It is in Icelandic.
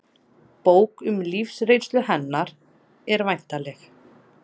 Bók um lífsreynslu hennar er væntanleg